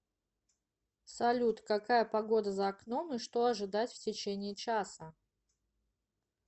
салют какая погода за окном и что ожидать в течение часа